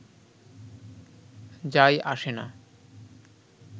যায় আসে না